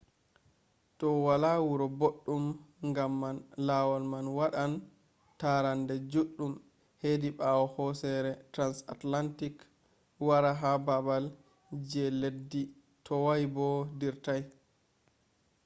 do wala wura boɗɗum ngam man lawol man waɗan tarande juɗɗum hedi ɓawo hosere transantarctic wara ha baabal je leddi toway bo dirtay